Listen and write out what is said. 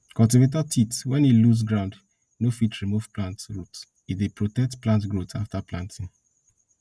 cultivator teeth when e loose ground no fit remove plant root e dey protect plant growth after planting